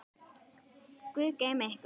Guð geymi ykkur og styrki.